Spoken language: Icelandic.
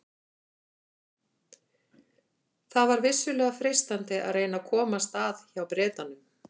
Það var vissulega freistandi að reyna að komast að hjá Bretanum.